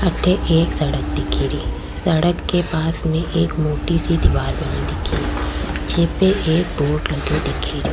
अठे एक सड़क दिखे री सड़क के पास में एक मोटी सी दिवार बनी दिखे री जे पे एक बोर्ड लग्यो दिखे रो।